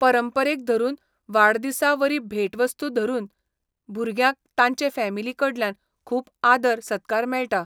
परंपरेक धरून, वाडदिसा वरी भेटवस्तू धरून, भुरग्यांक तांचे फामिली कडल्यान खूब आदर सत्कार मेळटा.